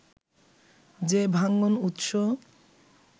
যে-ভাঙন উৎস